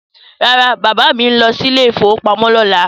No, my father is going to the bank tomorrow